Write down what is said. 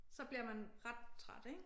Så bliver man ret træt ik